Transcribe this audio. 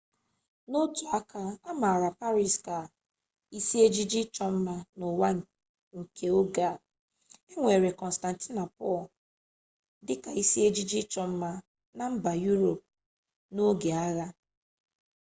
n'otu aka a maara paris ka isi ejiji ịchọ mma n'ụwa nke oge a e weere kọnstantinopul dịka isi ejiji ịchọ mma na mba yuropu n'oge agha